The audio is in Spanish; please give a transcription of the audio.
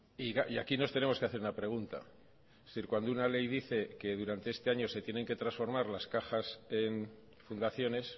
y aquí nos tenemos que hacer una pregunta es decir cuando una ley dice que durante este año se tienen que transformar las cajas en fundaciones